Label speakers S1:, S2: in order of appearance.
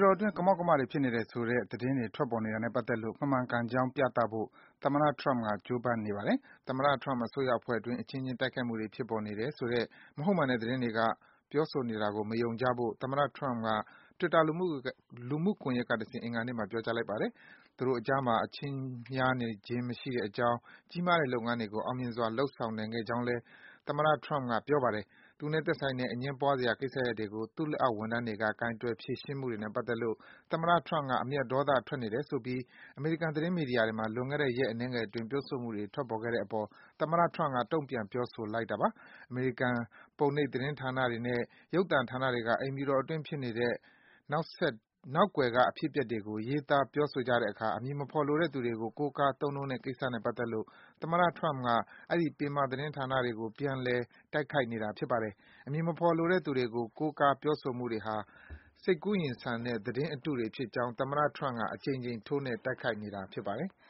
S1: တော်အတွင်း ကမောက်ကမတွေ ဖြစ်နေတယ်ဆိုတဲ့ သတင်းတွေ ထွက်ပေါ်နေတာနဲ့ ပတ်သက်လို့ မမှန်ကန်ကြောင်း ပြသဖို့ သမ္မတ Donald Trump က ကြိုးပမ်းနေပါတယ်။ သမ္မတ Trump အစိုးရအဖွဲ့အတွင်း အချင်းချင်း တိုက်ခိုက်မှုတွေ ဖြစ်ပေါ်နေတယ် - ဆိုတဲ့ မဟုတ်မှန်တဲ့ သတင်းတွေ ပြောဆိုနေတာတွေကို မယုံကြဖို့ သမ္မတ Trump က Twitter လူမှုကွန်ယက်ကတဆင့် အင်္ဂါနေ့မှာ ပြောကြားလိုက်ပါတယ်။ သူတို့အကြားမှာ အချင်းများနေခြင်း မရှိကြောင်း၊ ကြီးမားတဲ့ လုပ်ငန်းတွေကို အောင်မြင်စွာ လုပ်ဆောင်နိုင်ခဲ့ကြောင်းလည်း သမ္မတ Trump က ပြောပါတယ်။ သူနဲ့ သက်ဆိုင်တဲ့ အငြင်းပွားစရာ ကိစ္စရပ်တွေကို သူ့လက်အောက် ဝန်ထမ်းတွေက ကိုင်တွယ် ဖြေရှင်းမှုတွေနဲ့ ပတ်သက်လို့ သမ္မတ Trump က အမျက်ဒေါသထွက်နေတယ်ဆိုပြီး အမေရိကန် သတင်းမီဒီယာတွေမှာ လွန်ခဲ့တဲ့ ရက်အနဲငယ်အတွင်း ပြောဆိုမှုတွေ ထွက်ပေါ်ခဲ့တဲ့အပေါ် သမ္မတ Trump က တုံ့ပြန် ပြောဆိုလိုက်တာပါ။ အမေရိကန် ပုံနှိပ်သတင်းဌာနတွေနဲ့ ရုပ်သံဌာနတွေက အိမ်ဖြူတော်အတွင်း ဖြစ်နေတဲ့ နောက်ကွယ်က အဖြစ်အပျက်တွေကို ရေးသား ပြောဆိုကြတဲ့အခါ အမည်မဖော်လိုတဲ့ သူတွေကို ကိုးကား သုံးနှုန်းနေတဲ့ကိစ္စနဲ့ ပတ်သက်လို့ သမ္မတ Trump က အဲဒီ ပင်မ သတင်းဌာနတွေကို ပြန်လည် တိုက်ခိုက်နေတာ ဖြစ်ပါတယ်။ အမည်မဖော်လိုတဲ့ သူတွေကို ကိုးကား ပြောဆိုမှုတွေဟာ စိတ်ကူးယဉ်ဆန်တဲ့ သတင်းအတုတွေဖြစ်ကြောင်း သမ္မတ Trump က အကြိမ်ကြိမ် ထိုးနှက် တိုက်ခိုက်နေတာ ဖြစ်ပါတယ်။